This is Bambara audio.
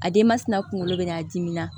A denba tina kunkolo bɛ n na a dimi na